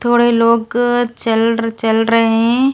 थोड़े लोग चल चल रहे हैं।